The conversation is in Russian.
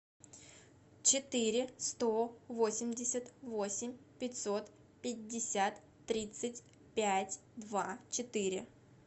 четыре сто восемьдесят восемь пятьсот пятьдесят тридцать пять два четыре